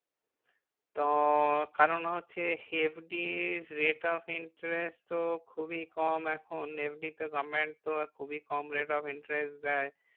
তো কারণ হচ্ছে FD rate of interest তো খুবই কম এখন FD তে government তো খুবই কম rate of interest দেয়।